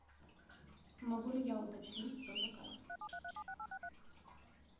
могу ли я уточнить свой заказ